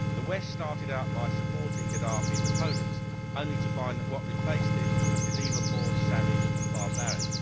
The West started out by supporting Gaddafi's opponents, only to find that what replaced him is even more savage and barbaric.